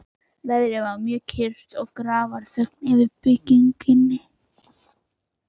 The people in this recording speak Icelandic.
Veðrið var mjög kyrrt og grafarþögn yfir byggðinni.